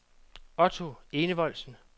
Otto Enevoldsen